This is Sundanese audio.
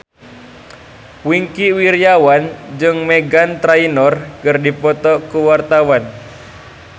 Wingky Wiryawan jeung Meghan Trainor keur dipoto ku wartawan